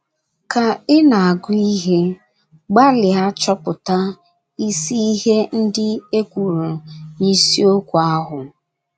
Ka ị na - agụ ihe, gbalịa chọpụta isi ihe ndị e kwuru n’isiokwu ahụ.